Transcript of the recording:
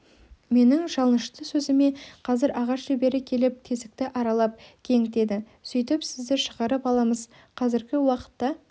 менің жалынышты сөзіме қазір ағаш шебері келіп тесікті аралап кеңітеді сөйтіп сізді шығарып аламыз қазіргі уақытта